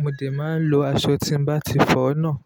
mo dè máa ń lo aṣọ tí n bá ti fọ náà.